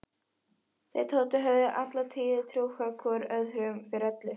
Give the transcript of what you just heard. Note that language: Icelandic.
Þeir Tóti höfðu alla tíð trúað hvor öðrum fyrir öllu.